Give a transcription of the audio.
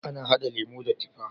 Ana hada lemo da tifa.